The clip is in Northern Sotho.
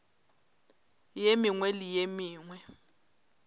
ye mengwe le ye mengwe